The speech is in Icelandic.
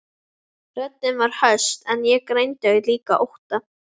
Röddin var höst en ég greindi líka ótta.